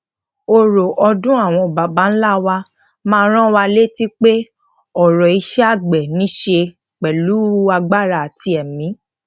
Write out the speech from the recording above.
oro odun awon baba nla wa máa ran wa leti pe oro ise agbe nise pelu agbára àti èmí